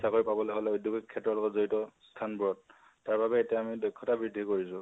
কৰবাত চাকৰি পাবলৈ হলে, উদ্ধগিক ক্ষেত্ৰৰ লগত জৰিয়ত স্থানবোৰত, তাৰবাবে আমি এতিয়া দক্ষতা বৃদ্ধি কৰিছো